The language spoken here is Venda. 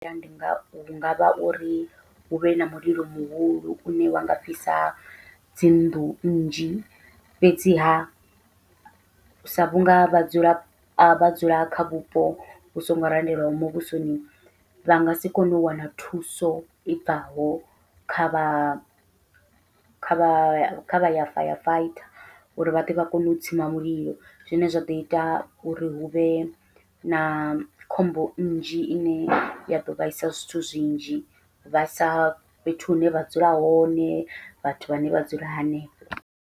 Ndi ngavha ngavha uri huvhe na mulilo muhulu une wa nga fhisa dzi nnḓu nnzhi, fhedziha sa vhunga vhadzulapo vha dzula kha vhupo vhu songo randelwaho muvhusoni vha ngasi kone u wana thuso i bvaho kha vha kha vha ya firefighter uri vhaḓe vha kone u tsima mulilo, zwine zwaḓo ita uri huvhe na khombo nnzhi ine ya ḓo vhaisa zwithu zwinzhi vha sa fhethu hune vha dzula hone vhathu vhane vha dzula hanefho.